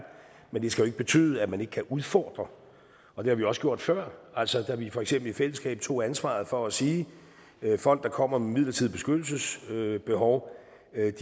men det skal jo ikke betyde at man ikke kan udfordre og det har vi også gjort før altså da vi for eksempel i fællesskab tog ansvaret for at sige at folk der kommer midlertidigt beskyttelsesbehov